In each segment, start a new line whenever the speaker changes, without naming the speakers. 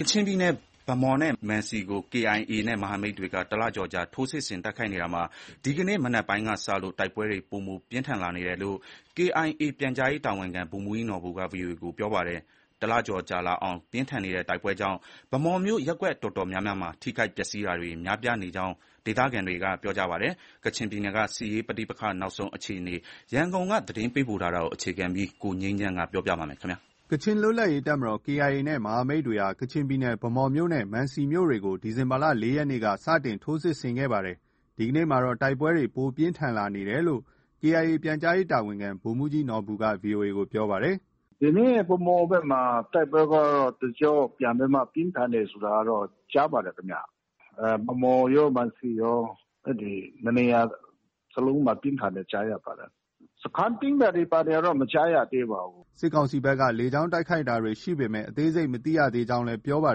ကချင်ပြည်နယ် ဗန်းမော်နဲ့မံစီမြို့ကို KIA နဲ့ မဟာမိတ်တွေဟာ တလကျော်ကြာ ထိုးစစ်ဆင်တိုက်ခိုက် နေရာမှာ ဒီနေ့ မနက်ပိုင်းကစလို့ တိုက်ပွဲတွေ ပိုမို ပြင်းထန်လာနေကြောင်း KIA ပြန်ကြားရေးတာဝန်ခံ ဗိုလ်မှူးကြီးနော်ဘူက VOA ကို ပြောပါတယ်။ တလကျော်ကြာအောင် ပြင်းထန်နေတဲ့တိုက်ပွဲကြောင့် ဗန်းမော်မြို့ ရပ်ကွက်အတော်များများဟာ ထိခိုက်ပျက်ဆီးတာတွေ များပြားနေကြောင်း ဒေသခံတွေက ပြောပါတယ်။ ကချင်ပြည်နယ်က စစ်ရေးပဋိပက္ခ နောက်ဆုံးအခြေအနေ ရန်ကုန်ကသတင်းပေးပို့ထား ပါတယ်
။ ကချင်လွတ်လပ်ရေးတပ်မတော် KIA နဲ့ မဟာမိတ်တွေဟာ ကချင်ပြည်နယ် ဗန်းမော်မြို့နဲ့ မံစီမြို့တွေကို ဒီဇင်ဘာလ ၄ ရက်နေ့က စတင်ထိုးစစ်ဆင်ခဲ့တာပါ။ ဒီကနေ့မှာတော့ တိုက်ပွဲတွေ ပိုမိုပြင်းထန်လာနေ တယ်လို့ KIA ပြန်ကြားရေးတာဝန်ခံ ဗိုလ်မှူးကြီးနော်ဘူက VOA ကို ပြောပါတယ်။ “ဒီနေ့ ဗန်းမော်ဘက်မှာ တိုက်ပွဲကတော့ တကျော့ပြန်ပြီးမှ ပြင်းထန်တယ်ဆိုတာကတော့ ကြား ပါတယ်ခင်ဗျ။ ဗန်းမော်ရော၊ မံစီရော အဲဒီနှစ်နေရာစလုံးမှာ ပြင်းထန်တယ်ကြားရပါတယ်။ စခန်းသိမ်းတာတွေ ဘာတွေကတော့ မကြားရသေးပါဘူး။” စစ်ကောင်စီဘက်က လေကြောင်းတိုက်ခိုက်တာတွေ ရှိပေမဲ့ အသေးစိတ်မသိရသေးကြောင်း ပြော ပါ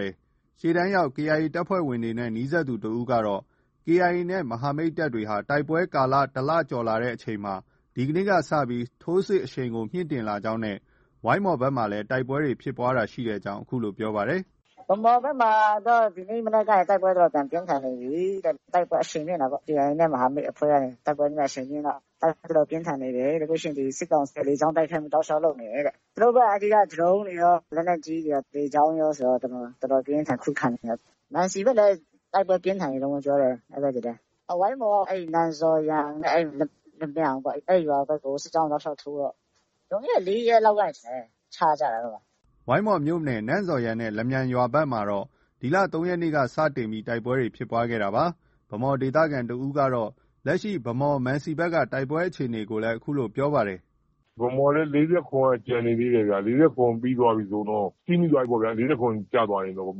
တယ်။ ရှေ့တန်းရောက် KIA တပ်ဖွဲ့ဝင်တွေနဲ့ နီးစပ်သူတဦးကတော့ KIA နဲ့ မဟာမိတ်တပ်တွေဟာ တိုက်ပွဲကာလတလကျော်လာချိန်မှာ ဒီကနေ့ကစပြီး ထိုးစစ်အရှိန်ကိုမြှင့်တင်လာကြောင်းနဲ့ ဝိုင်းမော် ဘက်မှာလည်း တိုက်ပွဲဖြစ်ကြောင်း ပြောပါတယ်။
“ဗန်းမော်ဘက်မှာတော့ ဒီမနက်ကနေစပြီး တိုက်ပွဲပြန်ပြင်းထန်နေပြီတဲ့။ တိုက်ပွဲအရှိန်မြှင့်တာပေါ့။ KIA နဲ့ မဟာမိတ်အဖွဲ့ကနေ တိုက်ပွဲအရှိန်မြှင့်တော့ တိုက်ပွဲတော်တော်ပြင်းထန်နေတယ်တဲ့။ ပြီးရင် စစ်ကောင်စီက လေကြောင်းတိုက်ခိုက်မှု တောက်လျှောက်လုပ်နေတယ်တဲ့။ သူတို့ဘက်က အဲဒီ ဒရုန်းတွေရော၊ လက်နက်ကြီးတွေရော၊ လေကြောင်းရောဆိုတော့ တော်တော် ပြင်းပြင်းထန်ထန် ခုခံနေတယ်။ မံစီဘက်လည်း တိုက်ပွဲပြင်းထန်နေတုန်းပဲ ပြောတယ်။ အဲဒီဘက်လည်း။ ဝိုင်းမော်က အဲဒီ နန်ဇော်ယန်နဲ့ လမြန်ပေါ့။ အဲဒီရွာဘက်ကို စစ်ကြောင်းတွေ တောက်လျှောက်ထိုးတော့ လွန်ခဲ့တဲ့ ၄ ရက်လောက်ကနေ ထင်တယ် ချကြတာ။ အဲဒီမှာ။
” ဝိုင်းမော်မြို့နယ် နန်ဇော်ယန်နဲ့ လမြန်ရွာဘက်တွေမှာတော့ ဒီလ ၃ ရက်နေ့က စတင် တိုက်ပွဲဖြစ်ခဲ့ တာပါ။ ဗန်းမော်ဒေသခံတဦးကတော့ လက်ရှိ ဗန်းမော်၊ မံစီဘက်က တိုက်ပွဲအခြေအနေကို အခုလို ပြောပါတယ်။
“ဗန်းမော်လည်း ၄၇ က ကျန်နေသေးတယ်ဗျ။ ၄၇ ပြီးသွားပြီဆိုရင်တော့ စီးမိသွားပြီပေါ့ဗျာ။ ၄၇ ကျသွားပြီဆိုရင်တော့ ဗန်း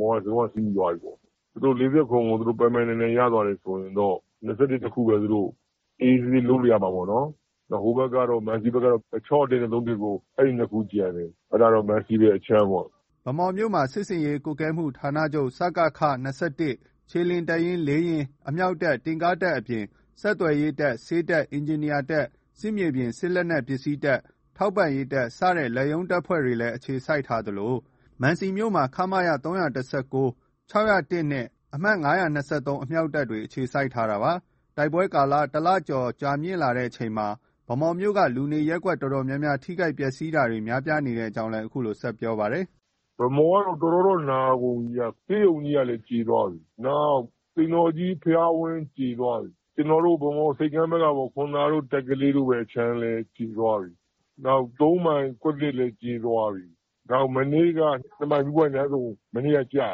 မော်က လုံး၀ စီးမိသွားပြီပေါ့။ သူတို့ ၄၇ ကို ပိုင်ပိုင်နိုင်နိုင် ရသွားပြီ ဆိုရင်တော့ ၂၁ တခုပဲ အေးအေးဆေးဆေး လုပ်လို့ ရမှာပေါ့နော်။ ဟိုဘက်ကတော့ မံစီဘက်ကတော့ ၆၀၁ နဲ့ ၃၁၉ အဲဒီနှစ်ခု ကျန်တယ်။ အဲဒါတော့ မံစီဘက်အခြမ်းပေါ့။
” ဗန်းမော်မြို့မှာ စစ်ဆင်ရေးကွပ်ကဲမှုဌာနချုပ် (စကခ) ၂၁ ၊ခြေလျင်တပ်ရင်း ၄ ရင်း၊ အမြောက်တပ်၊ တင့်ကားတပ်အပြင် ဆက်သွယ်ရေးတပ်၊ ဆေးတပ်၊ အင်ဂျင်နီယာတပ်၊ စစ်မြေပြင် စစ်လက်နက် ပစ္စည်းတပ်၊ ထောက်ပံ့ရေးတပ်စတဲ့ လက်ရုံးတပ်ဖွဲ့တွေလည်း အခြေစိုက်ထားသလို မံစီမြို့မှာ ခမရ ၃၁၉၊ ၆၀၁နဲ့ အမှတ် ၅၂၃ အမြောက်တပ်တွေအခြေစိုက်ထားတာပါ။ တိုက်ပွဲကာလ တလကျော်ကြာမြင့်လာချိန်မှာ ဗန်းမော်မြို့က လူနေရပ်ကွက်အတော်များများ ထိခိုက် ပျက်စီးတာတွေ များပြားနေကြောင်းလည်း ဆက်ပြောပါတယ်။ “ဗန်းမော်ကတော့ တော်တော်တော့ နာကုန်ပြ
ီဗျ။ ဆေးရုံကြီးကလည်း ကြေသွားပြီ။ နောက် သိမ်တော်ကြီးဘုရားဝင်း ကြေသွားပြီ။ ကျနော်တို့ ဗန်းမော်ဆိပ်ကမ်းဘက်ကပေါ့။ ခွန်သာတို့၊ တပ်ကလေးတို့ဘက်အခြမ်းလည်း ကြေသွားပြီ။နောက် ၃မ ိုင်ကွက်သစ်လည်းကြေသွားပြီ။ နောက် ၂ မိုင်မီးပွိုင့်လမ်းဆုံ မနေ့က ကျတ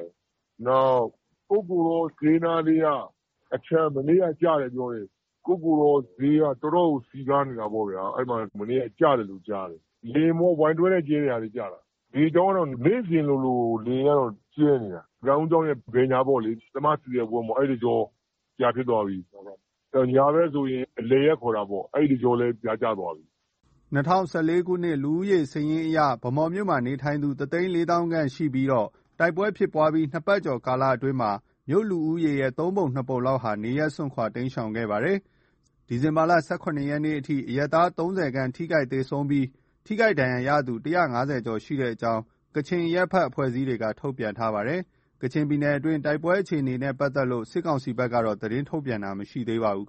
ယ်။ ကုက္ကိုတောဈေးနားလေးကအခြမ်း။ မနေ့က ကျတယ် ပြောတယ်။ ကုက္ကိုတောဈေးက အတော်ကို စည်ကားနေတာပေါ့ဗျာ။ အဲဒီမှာ မနေ့က ကျတယ်လို့ ပြောတယ်။ လေယာဉ်ပေါ့။ Y 12 နဲ့ ကြဲတဲ့ဟာတွေ ကျတာ။ လေကြောင်းကတော့ နေ့စဉ်လိုလို လေယာဉ်ကတော့ ကြဲနေတာ။ ကံဦးကျောင်းရဲ့ ဘယ်ညာပေါ့လေ။ သ/မ ဆီစက်ဝင်း ပြာဖြစ်သွားပြီ။ ညာဘက်ဆိုရင် အလယ်ရပ်ခေါ်တာပေါ့။ အဲဒီတကြောလည်း ပြာကျသွားပြီ
။” ၂၀၁၄ ခုနှစ် လူဦးရေစာရင်းအရ ဗန်းမော်မြို့မှာနေထိုင်သူ တသိန်းလေးသောင်း (၁၄၀,၀၀၀) ခန့်နေထိုင်နေပြီး တိုက်ပွဲဖြစ်ပွားပြီး နှစ်ပတ်ကျော်ကာလမှာ မြို့ လူဦးရေနဲ့ သုံးပုံနှစ်ပုံလောက်ဟာ နေရပ်စွန့်ခွာတိမ်းရှောင်ခဲ့ပါတယ်။ ဒီဇင်ဘာလ ၁၇ ရက်နေ့အထိ အရပ်သား ၃၀ ခန့်သေဆုံးပြီး ထိခိုက်ဒဏ်ရာရသူ ၁၅၀ ကျော်ရှိကြောင်း ကချင်အရပ်ဘက် အဖွဲ့အစည်းတွေက ထုတ်ပြန်ထား ပါတယ်။ ကချင်ပြည်နယ်တွင်းက တိုက်ပွဲအခြေအနေနဲ့ပတ်သက်လို့ စစ်ကောင်စီဘက်ကတော့ သတင်းထုတ်ပြန်တာမရှိသေးပါဘူး